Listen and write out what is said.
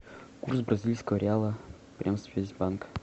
курс бразильского реала промсвязьбанк